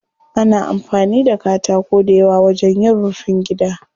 Ana amfani da katako dayawa wajen yin rufin gida.